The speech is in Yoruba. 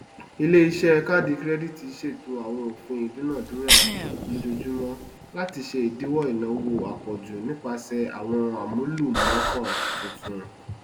ìléiṣẹ káàdì kirẹdìtì ṣètò àwọn òpin ìdúnàjùrà lójoojúmọ láti ṣe ìdíwọ ináwó àpòjù nípasẹ àwọn amúlùmọọkàn tuntun